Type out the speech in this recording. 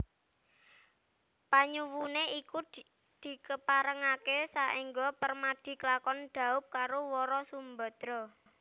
Panyuwuné iku dikeparengaké saéngga Permadi klakon dhaup karo Wara Sumbadra